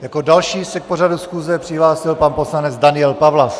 Jako další se k pořadu schůze přihlásil pan poslanec Daniel Pawlas.